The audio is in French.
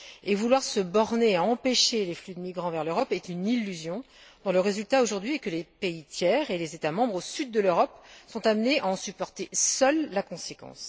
Et vouloir se borner à empêcher les flux de migrants vers l'Europe est une illusion, dont le résultat aujourd'hui est que les pays tiers et les États membres au Sud de l'Europe sont amenés à en supporter seuls la conséquence.